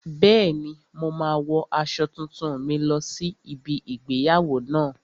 Bẹ́ẹ̀ni, mo máa wo aṣọ tuntun mi lọ sí ibi igbéyàwó náà